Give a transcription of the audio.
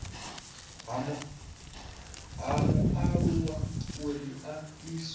ha mualuwa uri a iswe